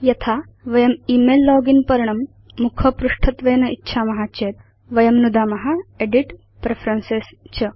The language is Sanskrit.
यथा वयं इमेल लोगिन् पर्णं मुखपृष्ठत्वेन इच्छाम चेत् वयं नुदाम एदित् प्रेफरेन्सेस् च